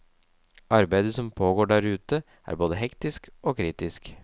Arbeidet som pågår der ute, er både hektisk og kritisk.